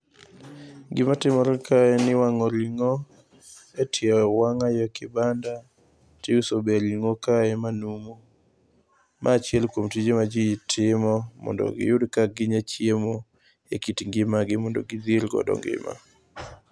Gimatimore ka en ni iwang'o ring'o etie wang'ayo e kibanda, tiusoga e ring'o kae manumu. Ma achiel kuom tije maji timo mondo iyud ka ginya chiemo ekit ngimagi mondo gidhirgodo ngima.